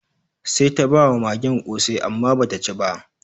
Sai ta ba wa magen ƙosai amma ba ta ci ba.